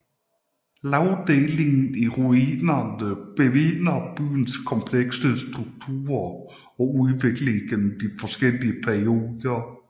Lagdelingen i ruinerne bevidner byens komplekse struktur og udvikling gennem de forskellige perioder